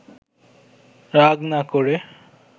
রাগ না করে